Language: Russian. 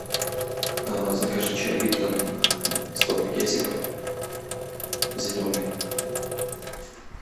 закажи чай липтон сто пакетиков зеленый